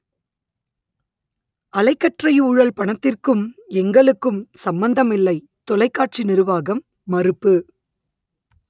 அலைக்கற்றை ஊழல் பணத்திற்கும் எங்களுக்கும் சம்பந்தமில்லை தொலைக்காட்சி நிருவாகம் மறுப்பு